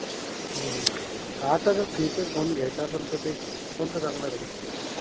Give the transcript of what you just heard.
हा तर feature phone घ्यायचा असेल तर ते. कोणता लागणार आहे.